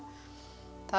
það